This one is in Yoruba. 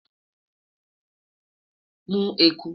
mu eku